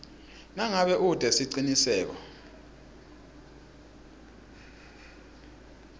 nangabe ute siciniseko